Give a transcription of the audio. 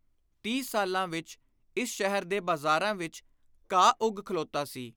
ਤੀਹ ਸਾਲਾਂ ਵਿਚ ਇਸ ਸ਼ਹਿਰ ਦੇ ਬਾਜ਼ਾਰਾਂ ਵਿਚ ਘਾਹ ਉੱਗ ਖਲੋਤਾ ਸੀ।